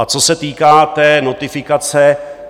A co se týká té notifikace.